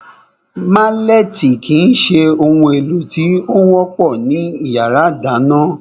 Málẹ̀tì kìí se ohun èlò tí ó wọ́pọ̀ ní yàrá ìdáná